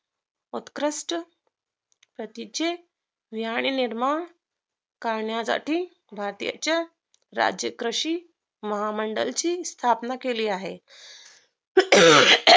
उत्कृष्ट सतीचे व्यांड निर्माण करण्यासाठी भारतीच्या राज्यकृषी महामंडल ची स्थापना केली आहे